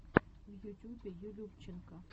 в ютюбе юлюбченко